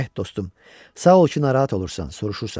Eh, dostum, sağ ol ki, narahat olursan, soruşursan.